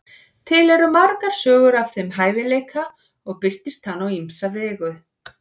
til eru margar sögur af þeim hæfileika og birtist hann á ýmsa vegu